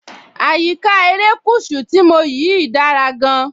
Àyíká erékùṣù tí mo yìí dára gan-an.